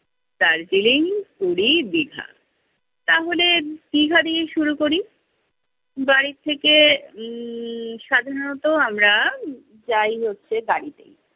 দার্জিলিং, পুরী, দীঘা। তাহলে দীঘা দিয়েই শুরু করি। বাড়ি থেকে উম সাধারণত আমরা যাই হচ্ছে গাড়িতে।